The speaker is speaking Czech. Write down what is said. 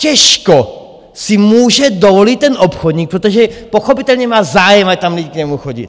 Těžko si může dovolit ten obchodník - protože pochopitelně má zájem, ať tam lidi k němu chodí.